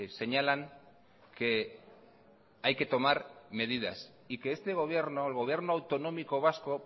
señalan que hay que tomar medidas y que este gobierno el gobierno autonómico vasco